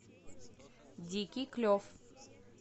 дикий клев